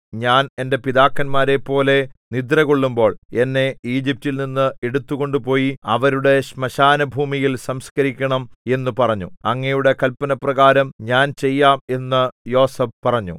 ഞാൻ എന്റെ പിതാക്കന്മാരെപ്പോലെ നിദ്രകൊള്ളുമ്പോൾ എന്നെ ഈജിപ്റ്റിൽ നിന്ന് എടുത്തുകൊണ്ടുപോയി അവരുടെ ശ്മശാനഭൂമിയിൽ സംസ്കരിക്കണം എന്നു പറഞ്ഞു അങ്ങയുടെ കല്പനപ്രകാരം ഞാൻ ചെയ്യാം എന്ന് യോസേഫ് പറഞ്ഞു